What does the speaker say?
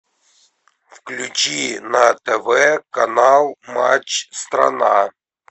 включи на тв канал матч страна